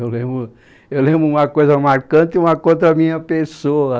Eu, eu lembro uma coisa marcante, uma contra a minha pessoa.